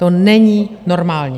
To není normální.